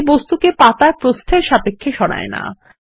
এটি বস্তুকে পাতার প্রস্থের সাপেক্ষে সরায় না